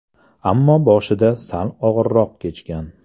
Ammo boshida sal og‘irroq kechgan.